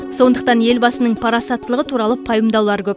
сондықтан елбасының парасаттылығы туралы пайымдаулар көп